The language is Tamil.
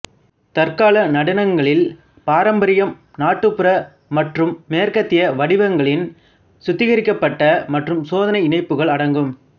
தற்கால நடனங்களில் பாரம்பரியம் நாட்டுப்புற மற்றும் மேற்கத்திய வடிவங்களின் சுத்திகரிக்கப்பட்ட மற்றும் சோதனை இணைப்புகள் அடங்கும்